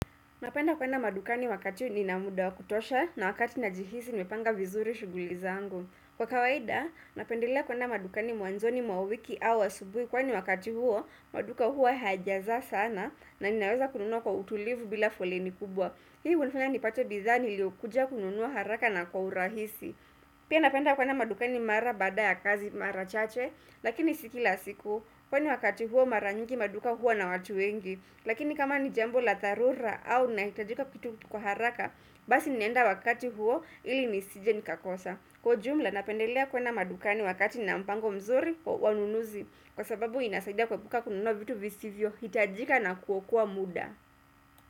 Napenda kwenda madukani wakati nina muda wakutosha na wakati najihisi nimepanga vizuri shughuli zangu. Kwa kawaida, napendelea kwenda madukani mwanzoni mwa wiki au asubuhi kwani wakati huo, maduka huwa hajaza sana na ninaweza kununua kwa utulivu bila fuloni kubwa. Hii hunifanya nipate bidhaa nilio kuja kununua haraka na kwa urahisi. Pia napenda kwenda madukani mara baada ya kazi mara chache, lakini si kila siku kwani wakati huo mara nyingi maduka huwa na watu wengi. Lakini kama ni jambo la dharura au nahitajika kitu kwa haraka Basi ninaenda wakati huo ili nisije nikakosa Kwa jumla napendelea kwenda madukani wakati nina mpango mzuri wa ununuzi Kwa sababu inasaida kuepuka kununua vitu visivyohitajika na kuokua muda.